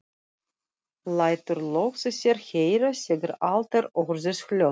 Lætur loks í sér heyra þegar allt er orðið hljótt.